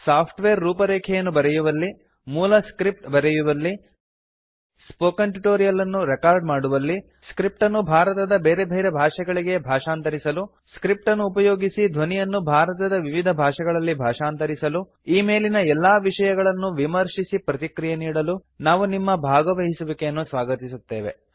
software ರೂಪರೇಖೆಯನ್ನು ಬರೆಯುವಲ್ಲಿ ಮೂಲ ಸ್ಕ್ರಿಪ್ಟ್ ಬರೆಯುವಲ್ಲಿ ಸ್ಪೋಕನ್ ಟ್ಯೂಟೋರಿಯಲ್ ನ್ನು ರೆಕಾರ್ಡ ಮಾಡುವಲ್ಲಿ ಸ್ಕ್ರಿಪ್ಟ್ ನ್ನು ಭಾರತದ ಬೇರೆ ಭಾಷೆಗಳಿಗೆ ಭಾಷಾಂತರಿಸಲು ಸ್ಕ್ರಿಪ್ಟ್ ನ್ನು ಉಪಯೋಗಿಸಿ ಧ್ವನಿಯನ್ನು ಭಾರತದ ವಿವಿಧ ಭಾಷೆಗಳಲ್ಲಿ ಭಾಷಾಂತರಿಸಲು ಈ ಮೇಲಿನ ಎಲ್ಲಾ ವಿಷಯಗಳನ್ನು ವಿಮರ್ಶಿಸಿ ಪ್ರತಿಕ್ರಿಯೆ ನೀಡಲು ನಾವು ನಿಮ್ಮ ಭಾಗವಹಿಸುವಿಕೆಯನ್ನು ಸ್ವಾಗತಿಸುತ್ತೇವೆ